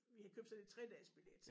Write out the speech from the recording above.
Vi havde købt sådan en 3-dages billet